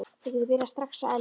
Þú getur byrjað strax að elda.